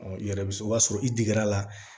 i yɛrɛ bɛ o b'a sɔrɔ i digir'a la